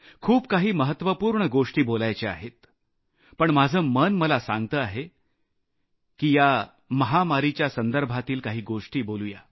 खूप काही महत्वपूर्ण गोष्टी बोलायच्या आहेत पण माझं मन मला सांगत आहे की या महामारीच्या संदर्भातील काही गोष्टी सांगू